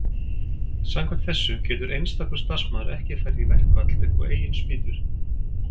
samkvæmt þessu getur einstakur starfsmaður ekki farið í verkfall upp á eigin spýtur